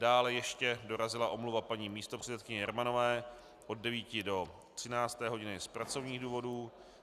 Dále ještě dorazila omluva paní místopředsedkyně Jermanové od 9. do 13. hodiny z pracovních důvodů.